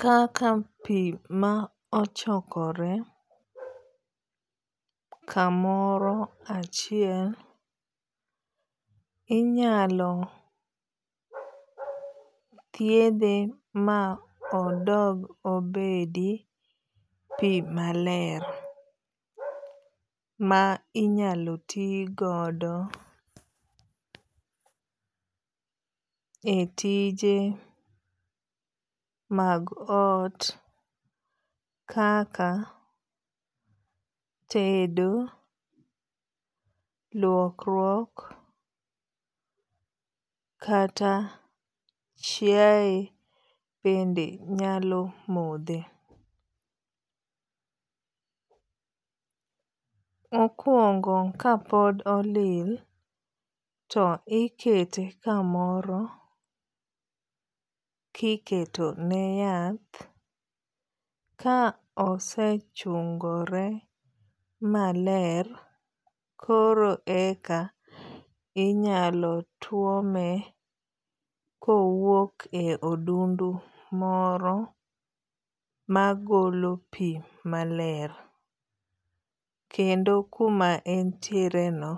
kaka pi ma ochokore kamoro achiel inyalo thiedhe ma odog obedi pi maler ma inyalo ti godo e tije mag ot kaka tedo, luokruok, kata chiaye bende nyalo modhe. Mokuongo kapod olil to ikete kamoro kiketo ne yath ka osechungore maler koro e ka inyalo tuome kowuok e odundu moro magolo pi maler. Kendo kuma entiere no